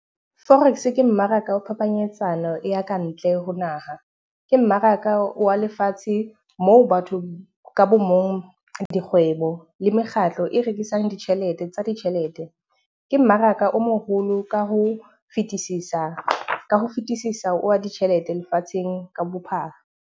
Forex ke mmaraka wa phapanyetsano ya ka ntle ho naha. Ke mmaraka wa lefatshe moo batho ka bo mong, dikgwebo le mekgatlo e rekisang ditjhelete tsa ditjhelete. Ke mmaraka o moholo ka ho fetisisa ka ho fetisisa wa ditjhelete lefatsheng ka bophara.